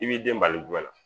I b'i den bali gɛnna